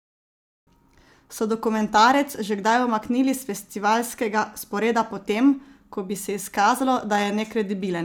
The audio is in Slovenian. So dokumentarec že kdaj umaknili s festivalskega sporeda potem, ko bi se izkazalo, da je nekredibilen?